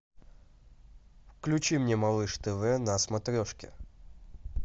включи мне малыш тв на смотрешке